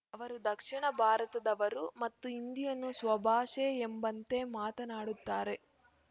ಅವರು ದಕ್ಷಿಣ ಭಾರತದವರು ಮತ್ತು ಹಿಂದಿಯನ್ನು ಸ್ವಭಾಷೆ ಎಂಬಂತೆ ಮಾತನಾಡುತ್ತಾರೆ